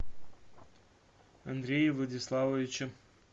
андрея владиславовича